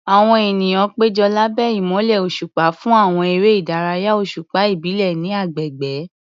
Àwọn ènìyàn péjọ lábẹ́ ìmọ́lẹ̀ òṣùpá fún àwọn eré ìdárayá òṣùpá ìbílẹ̀ ní agbègbè.